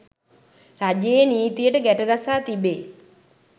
රජයේ නීතියට ගැටගසා තිබේ